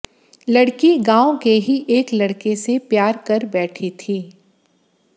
लड़की गांव के ही एक लड़के से प्यार कर बैठी थी